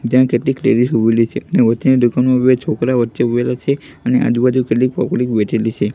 ત્યાં કેટલીક લેડીઝ ઉભેલી છે ને છોકરા વચ્ચે ઉભેલા છે અને આજુ બાજુ કેટલીક પબ્લિક બેઠેલી છે.